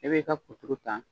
E bɛ i ka kuturu ta